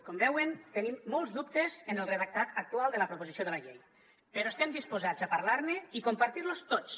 com veuen tenim molts dubtes en el redactat actual de la proposició de la llei però estem disposats a parlar ne i compartir los tots